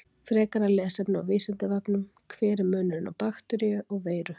Frekara lesefni á Vísindavefnum: Hver er munurinn á bakteríu og veiru?